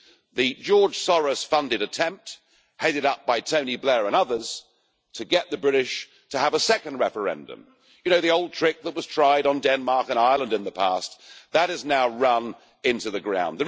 The George Soros funded attempt, headed up by Tony Blair and others, to get the British to have a second referendum you know, the old trick that was tried on Denmark and Ireland in the past that has now run into the ground.